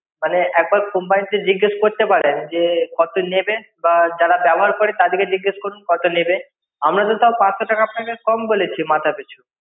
মানে একবার company কে জিজ্ঞেস করতে পারেন কত নেবে বা যারা ব্যবহার করে তাদের কে জিজ্ঞেস করুন কত নেবে আমরা তো তাও পাঁচশো টাকা আপনাকে কম বলেছি মাথা পিছু